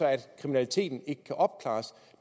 at kriminaliteten ikke kan opklares